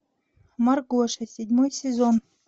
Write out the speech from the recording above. маргоша седьмой сезон